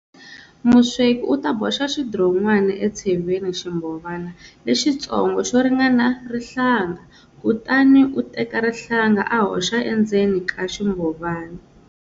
Musweki u ta boxa xidiron'wana etsheveni ximbhovana lexitsongo xo ringana rihlanga, kutani u teka rihlanga a hoxa endzeni ka ximbhovana.